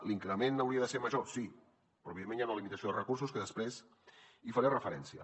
l’increment hauria de ser major sí però evidentment hi ha una limitació de recursos que després hi faré referència